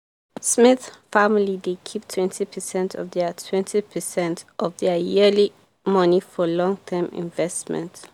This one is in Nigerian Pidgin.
smith family dey keep twenty percent of their twenty percent of their yearly money for long-term investment.